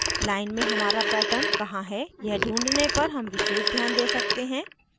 line में हमारा pattern कहाँ है यह ढूँढने पर हम विशेष ध्यान we सकते हैं